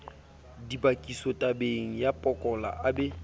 dibakisotabeng ya pokola a be